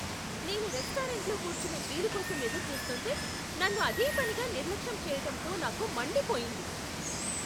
నేను రెస్టారెంట్లో కూర్చునే వీలు కోసం ఎదురుచూస్తుంటే, నన్ను అదేపనిగా నిర్లక్ష్యం చేయటంతో నాకు మండిపోయింది.